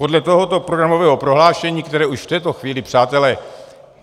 Podle tohoto programového prohlášení, které už v této chvíli, přátelé...